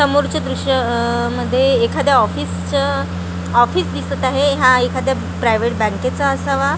समोरच्या दृश्य अ मध्ये एखाद्या ऑफिसचं ऑफिस दिसत आहे हा एखाद्या प्रायवेट बँकेचा असावा .